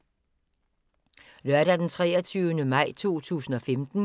Lørdag d. 23. maj 2015